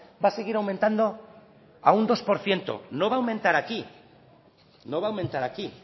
va a seguir aumentando a un dos por ciento no va a aumentar aquí no va a aumentar aquí